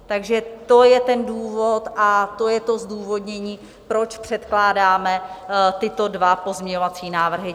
Takže to je ten důvod a to je to zdůvodnění, proč předkládáme tyto dva pozměňovací návrhy.